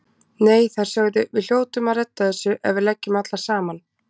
Nei, þær sögðu: Við hljótum að redda þessu ef við leggjum allar saman